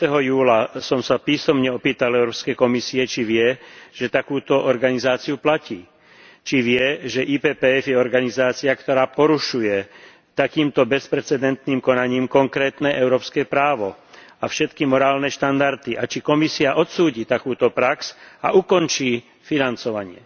20. júla som sa písomne opýtal Európskej komisie, či vie, že takúto organizáciu platí, či vie, že IPPF je organizácia, ktorá porušuje takýmto bezprecedentným konaním konkrétne európske právo a všetky morálne štandardy, a či Komisia odsúdi takúto prax a ukončí financovanie.